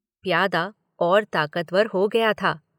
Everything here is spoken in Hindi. प्यादा और ताकतवर हो गया था।